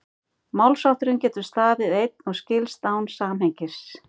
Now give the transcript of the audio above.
málshátturinn getur staðið einn og skilst án samhengis